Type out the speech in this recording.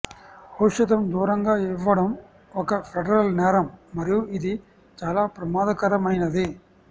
ఔషధం దూరంగా ఇవ్వడం ఒక ఫెడరల్ నేరం మరియు ఇది చాలా ప్రమాదకరమైనది